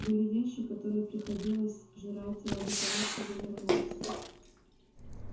были вещи которые приходилось жрать ради того чтобы вернуться